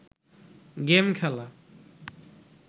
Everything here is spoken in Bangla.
গেম খেলা